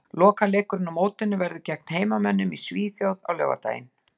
Lokaleikurinn á mótinu verður svo gegn heimamönnum í Svíþjóð á laugardaginn.